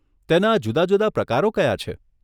તેના જુદા જુદા પ્રકારો કયા છે?